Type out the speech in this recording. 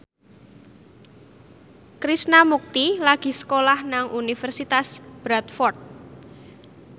Krishna Mukti lagi sekolah nang Universitas Bradford